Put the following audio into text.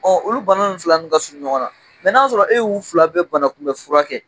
Bawo olu bana fila ninnu ka surun ɲɔgɔn na, mɛ k'a y'a sɔrɔ e y'u fila bɛ banakunbɛ fura kɛ